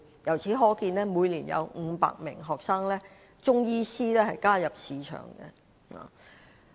由此可見，每年有500名新中醫師加入市場。